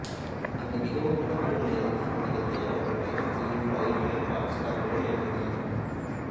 அங்கு மிகவும் நடப்பில் உள்ள எழுத்தின் வடிவத்தை அவர்கள் பயணம் செய்யும் இரயில்கள் பாக்ஸ் கார்களில் எழுதினர்